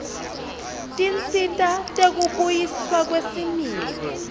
tinsita tekubuyiswa kwesimilo